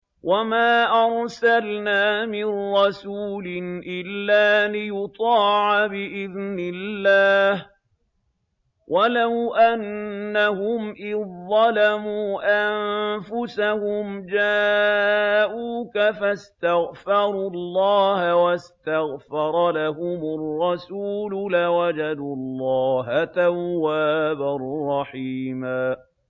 وَمَا أَرْسَلْنَا مِن رَّسُولٍ إِلَّا لِيُطَاعَ بِإِذْنِ اللَّهِ ۚ وَلَوْ أَنَّهُمْ إِذ ظَّلَمُوا أَنفُسَهُمْ جَاءُوكَ فَاسْتَغْفَرُوا اللَّهَ وَاسْتَغْفَرَ لَهُمُ الرَّسُولُ لَوَجَدُوا اللَّهَ تَوَّابًا رَّحِيمًا